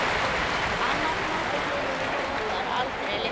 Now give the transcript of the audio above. Annar notar aldrei lyftur.